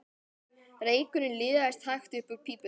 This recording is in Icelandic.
Reykurinn liðaðist hægt upp úr pípunni.